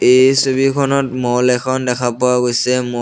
এই ছবিখনত মল এখন দেখা পোৱা গৈছে মল --